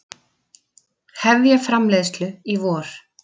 Hefja framleiðslu í vor